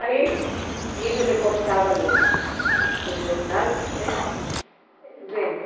Aí, e ele recortava os jornais, né vendo.